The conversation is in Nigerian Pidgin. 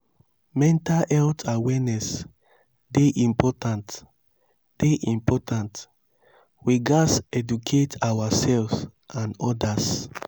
mental health awareness dey important; dey important; we gats educate ourselves and odas.